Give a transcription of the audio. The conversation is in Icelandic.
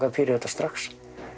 fyrir þetta strax